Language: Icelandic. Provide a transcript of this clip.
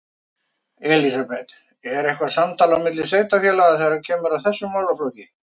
Elísabet: Er eitthvað samtal á milli sveitarfélaga þegar kemur að þessum málaflokk?